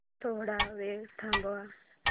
थोडा वेळ थांबव